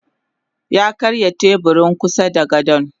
Yakarya teburin kusada gadon.